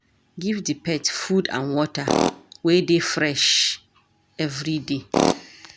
Give di pet food and water wey dey fresh everyday